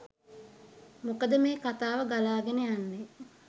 මොකද මේ කතාව ගලාගෙන යන්නේ